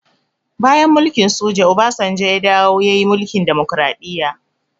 Bayan mulkin soja, obasanjo ya dawo ya yi mulkin demokraɗiya